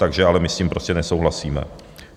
Takže ale my s tím prostě nesouhlasíme.